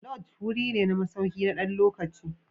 Lodges wuri ne na masauki na ɗan lokaci.